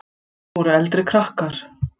Þar voru eldri krakkar.